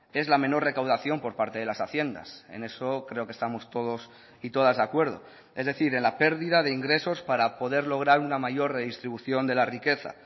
es la menor recaudación por parte de las haciendas en eso creo que estamos todos y todas de acuerdo es decir en la pérdida de ingresos para poder lograr una mayor redistribución de la riqueza